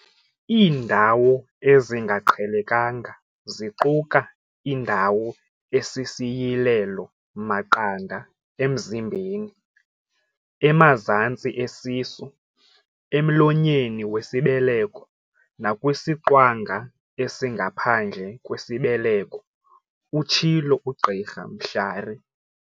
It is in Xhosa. "Iindawo ezingaqhelekanga ziquka indawo esisiyilelo-maqanda emzimbeni, emazantsi esisu, emlonyeni wesibeleko nakwisiqwanga esingaphandle kwesibeleko," utshilo uGqr Mhlari.